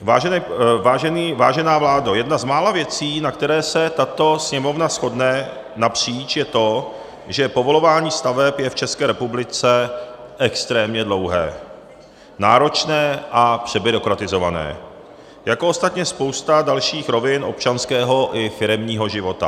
Vážená vládo, jedna z mála věcí, na které se tato Sněmovna shodne napříč, je to, že povolování staveb je v České republice extrémně dlouhé, náročné a přebyrokratizované, jako ostatně spousta dalších rovin občanského i firemního života.